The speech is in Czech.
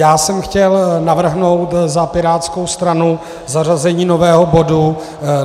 Já jsem chtěl navrhnout za pirátskou stranu zařazení nového bodu.